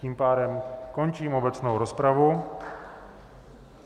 Tím pádem končím obecnou rozpravu.